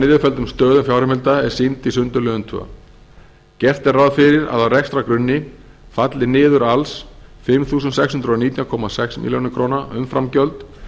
niðurfelldum stöðum fjárheimilda er sýnd í sundurliðun annars gert er ráð fyrir að á rekstrargrunni falli niður alls fimm þúsund sex hundruð og nítján komma sex milljónir króna umframgjöld